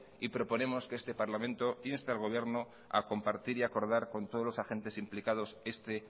y proponemos que este parlamento inste al gobierno a compartir y acordar con todos los agentes implicados este